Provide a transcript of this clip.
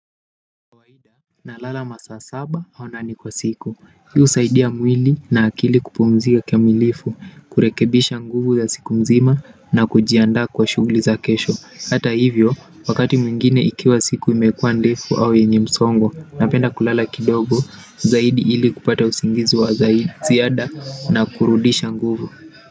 Nalala masaa saba au nane kwa siku. Hi husaidia mwili na akili kupumzika kikamilifu kurekebisha nguvu za siku mzima na kujiandaa kwa shughuli za kesho hata hivyo, wakati mwingine ikiwa siku imekua ndefu au yenye msongo napenda kulala kidogo, zaidi ili kupata usingizi wa ziada na kurudisha nguvu.